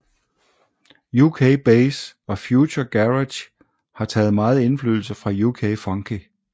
UK bass og future garage har taget meget indflydelse fra UK funky